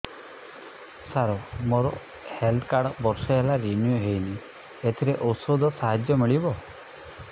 ସାର ମୋର health card ବର୍ଷେ ହେଲା ରିନିଓ ହେଇନି ଏଥିରେ ଔଷଧ ସାହାଯ୍ୟ ମିଳିବ